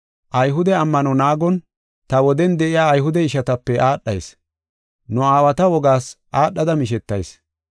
Ayhude ammano naagon, ta woden de7iya Ayhude ishatape aadhayis. Nu aawata wogaas aadhada mishetayis.